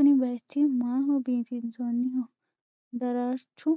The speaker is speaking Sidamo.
Kunni bayiichchi maaho biifinsoonniho ? Daraarrichchu